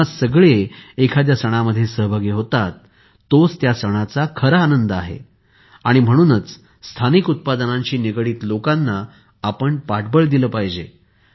जेव्हा सगळे एखाद्या सणामध्ये सहभागी होतात तोच त्या सणाचा खरा आनंद आहे म्हणूनच स्थानिक उत्पादनांशी निगडित लोकांना आपण पाठबळ दिले पाहिजे